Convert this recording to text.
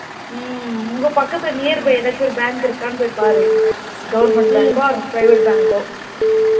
உம் உங்க பக்கத்துல nearby எதாச்சும் ஒரு bank இருக்குதான்னு போய் பாரு government bank கோ private bank கோ